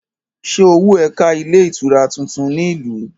Ṣé owó ẹ ká ilé-itura tuntun ní ìlú?